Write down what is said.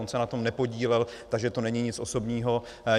On se na tom nepodílel, takže to není nic osobního.